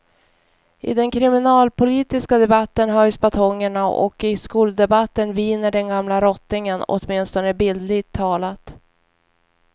I den kriminalpolitiska debatten höjs batongerna och i skoldebatten viner den gamla rottingen, åtminstone bildligt talat.